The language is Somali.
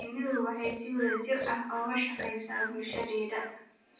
Shinnidu waxay si wada jir ah uga shaqaysaa bulshadeeda.